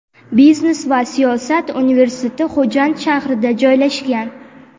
biznes va siyosat universiteti Xo‘jand shahrida joylashgan.